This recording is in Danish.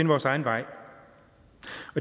vores egen vej